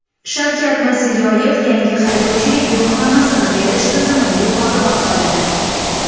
Shavkat Mirziyoyev yangi haydovchilik guvohnomasini berish tizimini yuqori baholadi.